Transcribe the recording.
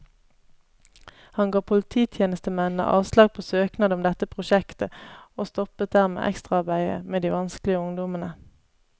Han ga polititjenestemennene avslag på søknad om dette prosjektet, og stoppet dermed ekstraarbeidet med de vanskelige ungdommene.